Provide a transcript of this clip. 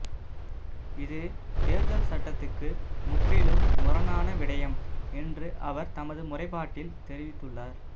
இது தேர்தல் சட்டத்துக்கு முற்றிலும் முரணான விடயம் என்று அவர் தமது முறைப்பாட்டில் தெரிவித்துள்ளார்